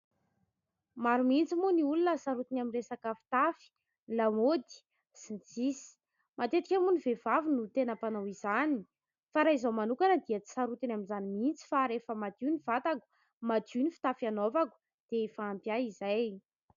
Maro mihitsy moa ny olona sarotiny amin'ny resaka fitafy, lamaody sy ny sisa. Matetika moa ny vehivavy no tena mpanao izany. Fa raha izaho manokana dia tsy sarotiny amin'izany mihitsy fa rehefa madio ny vatako, madio ny fitafy hanaovako, dia efa ampy ahy izay.